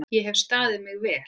Ég hef staðið mig vel.